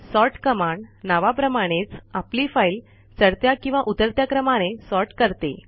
sort command नावाप्रमाणेच आपली file चढत्या किंवा उतरत्या क्रमाने सॉर्ट करते